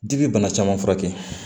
Dibi bana caman furakɛ